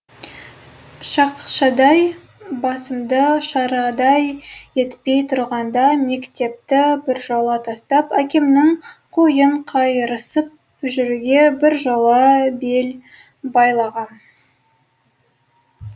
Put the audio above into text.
шақшадай басымды шарадай етпей тұрғанда мектепті біржола тастап әкемнің қойын қайырысып жүруге біржола бел байлағам